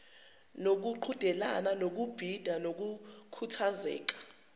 nokuqhudelana ngokubhida kuyokhuthazeka